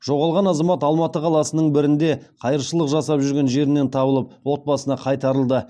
жоғалған азамат алматы қаласының бірінде қайыршылық жасап жүрген жерінен табылып отбасына қайтарылды